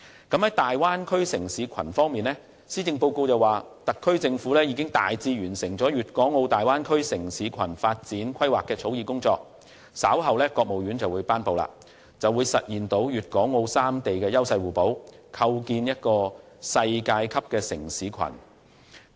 在大灣區建設方面，施政報告提到特區政府已大致完成"粵港澳大灣區城市群發展規劃"的草擬工作，稍後會由國務院頒布，屆時將可實現粵港澳三地優勢互補及構建世界級城市群。